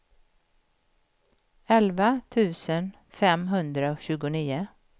elva tusen femhundratjugonio